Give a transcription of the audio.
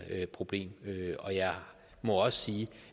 problem og jeg må også sige